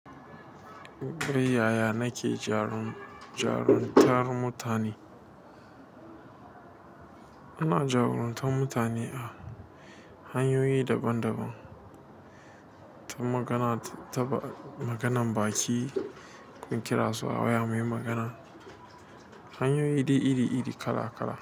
Yaya nake jarumta mutane? Ina jarumtan mutane hanyoyi daban daban, ta magana, maganan baki in kira su a waya muyi magana, hanyoyi dai iri iri kala kala.